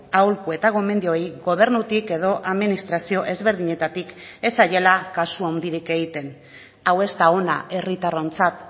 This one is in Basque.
aholku eta gomendioei gobernutik edo administrazio ezberdinetatik ez zaiela kasu handirik egiten hau ez da ona herritarrontzat